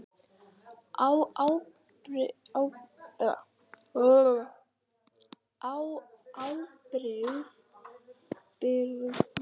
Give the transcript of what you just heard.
Á ábyrgð hinna stóru siðblindu.